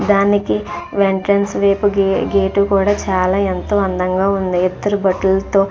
దానికి వెంట్రన్స్ వైపు గేటు కూడా చాలా ఎంతో అందంగా ఉంది. ఇద్దరూ బటులతో --